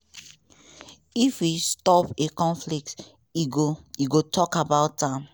if e stop a conflict e go e go tok about am.